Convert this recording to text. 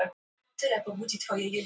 Sendum frá okkur skýr skilaboð